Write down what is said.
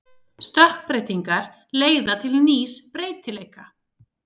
Stökkbreytingar leiða til nýs breytileika.